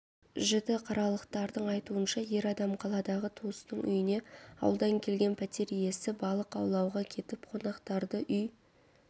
жітіқаралықтардың айтуынша ер адам қаладағы туысының үйіне ауылдан келген пәтер иесі балық аулауға кетіп қонақтарды үй